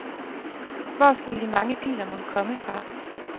Hvor skulle de mange biler mon komme fra.